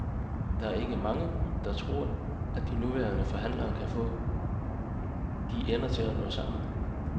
Der er ikke mange, der tror, at de nuværende forhandlere kan få de ender til at nå sammen.